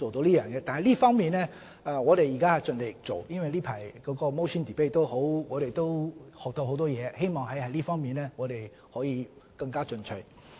在這方面，我們現時盡力在做，我們從近來的 motion debate 亦學習到很多東西，希望在這方面可以更進取。